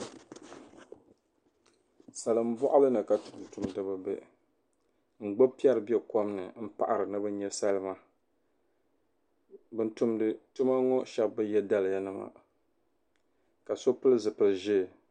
salimbɔɣili ni ka tuntumdiba be ka gbubi piɛri be kom m-paɣira ni bɛ nya salima ban tumdi tuma ŋɔ shɛba bi ye daliyanima ka so pili zipil' ʒee